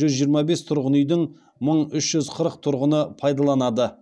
жүз жиырма бес тұрғын үйдің мың үш жүз қырық тұрғыны пайдаланады